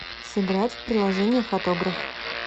сыграть в приложение фотограф